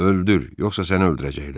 Öldür, yoxsa səni öldürəcəklər.